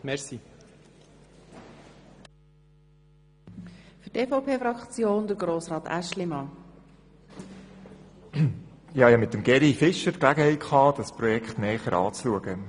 Ich hatte zusammen mit Grossrat Fischer die Gelegenheit, das Projekt näher anzusehen.